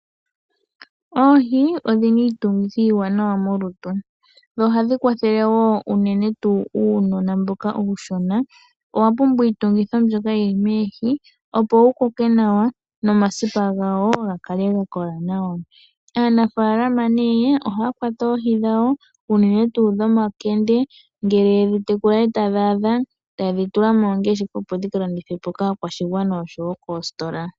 Oohi odhi na iitungithi iiwanawa molutu, dho ohadhi kwathele wo unene tuu uunona mboka uushona. Owa pumbwa iitungithi mbyoka yi li moohi, opo wu koke nawa, nomasipa gawo ga kale ga kola nawa. Aanafaalama ohaya kwata oohi dhawo, unene tuu dhomakende, ngele ye dhi tekula e tadhi adha, taye dhi tula mooongeshefa, opo dhi ka landithwe po kaakwashigwana osho wo koositola.